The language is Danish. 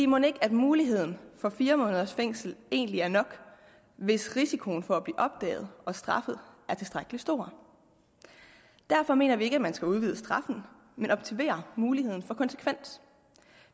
mon ikke muligheden for fire måneders fængsel egentlig er nok hvis risikoen for at blive opdaget og straffet er tilstrækkelig stor derfor mener vi ikke at man skal udvide straffen men optimere muligheden for konsekvens